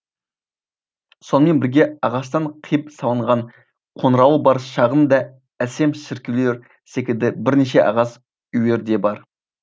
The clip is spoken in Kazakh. сонымен бірге ағаштан қиып салынған қоңырауы бар шағын да әсем шіркеулер секілді бірнеше ағаш үйлер де бар